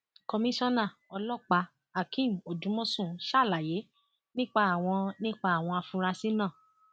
komisanna ọlọpàáhakeem odúmọṣù ṣàlàyé nípa àwọn nípa àwọn afurasí náà